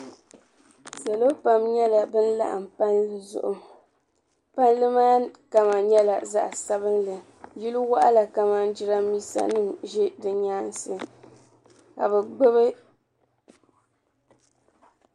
Salo pam nyɛla ban laɣim palli zuɣu palli kama nyɛla zaɣ'sabinli yili waɣila kamani jirambiisanima ʒe di nyaansi ka bɛ gbubi.